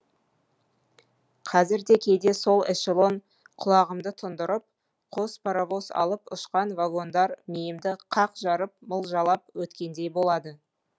қазір де кейде сол эшелон құлағымды тұндырып қос паровоз алып ұшқан вагондар миымды қақ жарып мылжалап өткендей болады